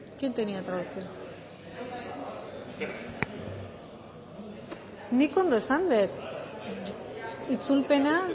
no no no nik ondo esan dut itzulpena